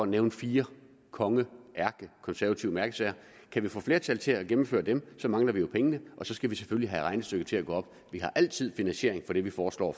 nævne fire konge ærkekonservative mærkesager kan vi få flertal til at gennemføre dem mangler vi jo pengene og så skal vi selvfølgelig have regnestykket til at gå op vi har altid finansiering til det vi foreslår